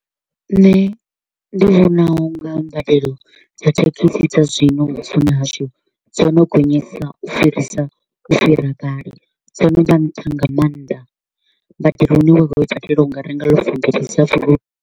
Nṋe ndi vhona u nga mbadelo dza thekhisi dza zwino vhuponi hashu dzo no gonyesa u fhirisa u fhira kale, dzo no vha nṱha nga maanḓa. Mbadelo i ne wa nga i badela u nga renga loaf mbili dza .